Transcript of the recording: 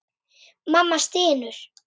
Mamma stynur.